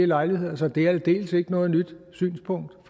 lejligheder så det er aldeles ikke noget nyt synspunkt